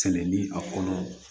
Tɛnɛ ni a kɔnɔ